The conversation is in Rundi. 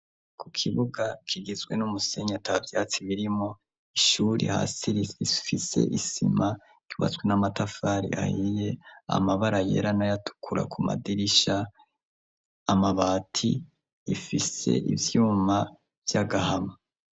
Ku kibuga kigizwe n'umusenyi ata vyatsi birimwo, ishure hasi rifise isima, ryubatswe n'amatafari ahiye, amabara yera n'ayatukura ku madirisha, amabati, rifise ivyuma vy'agahama.